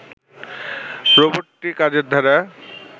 রোবটটির কাজের ধারা